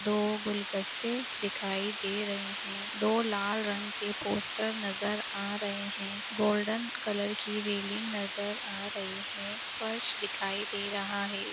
दो गुलगस्ते दिखाई दे रहे हैं। दो लाल रंग के पोस्टर नजर आ रहे हैं। गोल्डन कलर की रेलिंग नजर आ रही है। फर्श दिखाई दे रहा है।